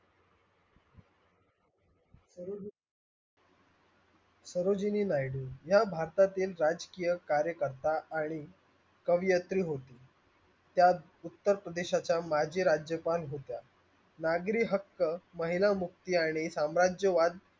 या भारतातील राजकीय कार्यकर्ता आणि कवियत्री होती त्या उत्तर प्रदेशाच्या माजी राज्यपाल होत्या नागरी हक्क महिला मुक्ती आणि साम्राज्यवाद